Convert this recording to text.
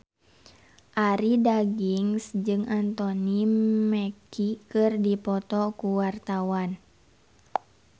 Arie Daginks jeung Anthony Mackie keur dipoto ku wartawan